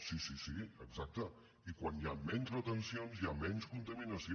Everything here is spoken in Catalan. sí sí sí exacte i quan hi han menys retencions hi ha menys contaminació